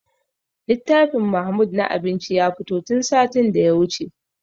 Littafin mahmud na abinci ya fito tun satin da ya wuce